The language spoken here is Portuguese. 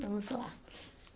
Vamos lá.